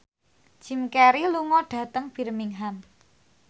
Jim Carey lunga dhateng Birmingham